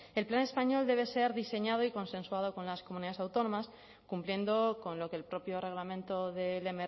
el plan español debe ser diseñado y consensuado con las comunidades autónomas cumpliendo con lo que el propio reglamento del